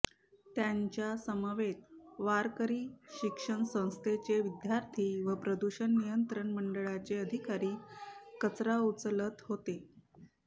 त्यांच्या समवेत वारकरी शिक्षण संस्थेचे विद्यार्थी व प्रदूषण नियंत्रण मंडळाचे अधिकारी कचरा उचलत होते